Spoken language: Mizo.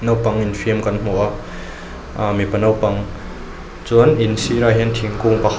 naupang infiam kan hmu a aaa mipa naupang chuan in sirah hian thingkung pakhat--